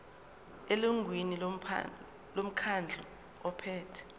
elungwini lomkhandlu ophethe